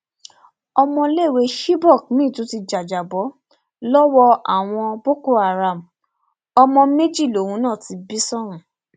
ọmọléèwé chibok miín tún jàjàbọ lọwọ àwọn boko haram ọmọ méjì lòun náà ti bí sóhun